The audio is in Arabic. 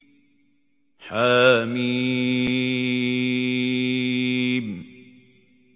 حم